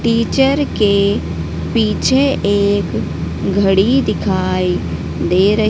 teacher के पीछे एक घड़ी दिखाई दे रह--